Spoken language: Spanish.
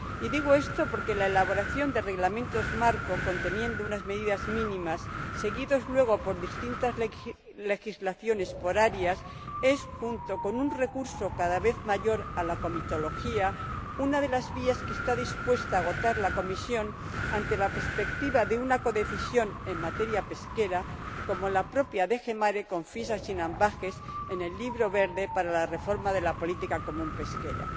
Y digo esto porque la elaboración de reglamentos marco que contienen unas medidas mínimas seguidos luego por distintas legislaciones por áreas es, junto con un recurso cada vez mayor a la comitología, una de las vías que está dispuesta a agotar la Comisión ante la perspectiva de una codecisión en materia pesquera, como la propia DG MARE confiesa sin ambajes en el Libro verde para la reforma de la Política Pesquera